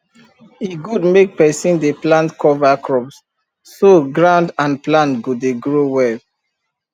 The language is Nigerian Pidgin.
e good make person dey plant cover crops so ground and plant go dey grow well